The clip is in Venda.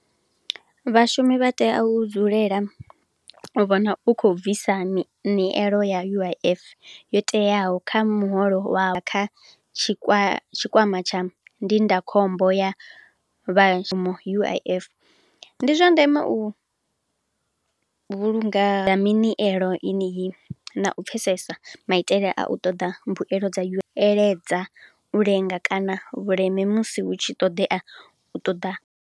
Vhashumi vha tea u dzulela, vha vhona u khou bvisa nielo ya U_I_F yo teaho kha muholo wa kha tshikwama tsha ndindakhombo ya vha U_I_F. Ndi zwa ndeme u vhulunga minielo ineyi na u pfhesesa maitele a u ṱoḓa mbuelo dza, eletshedza u lenga kana vhuleme musi hu tshi ṱoḓea u ṱoḓa.